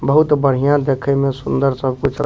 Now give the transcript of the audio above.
बहुत बढ़िया देखे में सुन्दर सब-कुछ ला --